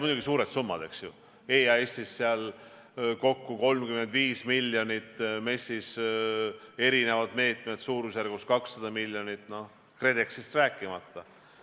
Muidugi, suured summad, eks ju, EAS-ist kokku 35 miljonit, MES-ist eri meetmed suurusjärgus 200 miljonit, KredExist rääkimata.